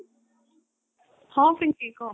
ହଁ ପିଙ୍କି କହ